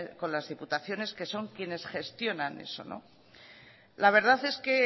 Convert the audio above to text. con las diputaciones que son quienes gestionan eso la verdad es que